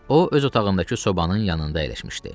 O öz otağındakı sobanın yanında əyləşmişdi.